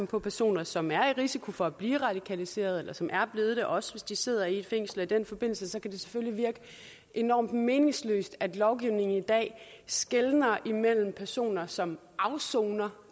på personer som er i risiko for at blive radikaliseret eller som er blevet det også hvis de sidder i fængsel og i den forbindelse kan det selvfølgelig virke enormt meningsløst at lovgivningen i dag skelner imellem personer som afsoner